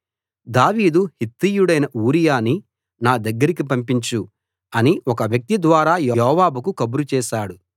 దావీదు హిత్తీయుడైన ఊరియాని నా దగ్గరికి పంపించు అని ఒక వ్యక్తి ద్వారా యోవాబుకు కబురు చేశాడు